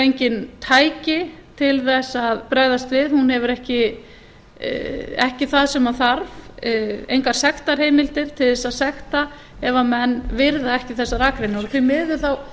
engin tæki til að bregðast við hún hefur ekki það sem þarf engar sektarheimildir til að sekta ef menn virða ekki þessar akreinar því miður hefur það